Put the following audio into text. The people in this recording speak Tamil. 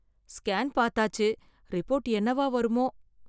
ஸ்கேன் பார்த்தாச்சு. ரிப்போர்ட் என்னவா வருமோ